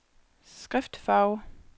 skriftfarve